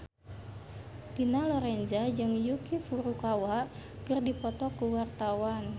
Dina Lorenza jeung Yuki Furukawa keur dipoto ku wartawan